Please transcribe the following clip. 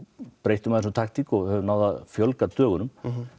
breyttum aðeins um taktík og höfum náð að fjölga dögunum